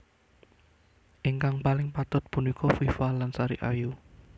Ingkang paling patut punika Viva lan Sari Ayu